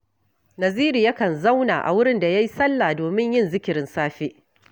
Naziru yakan zauna a wurin da ya yi sallah domin yin zikirin safe